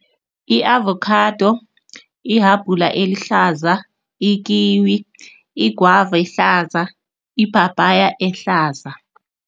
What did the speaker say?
I-avokhado, ihabhula elihlaza, ikiwi, igwava ehlaza, iphaphaya ehlaza.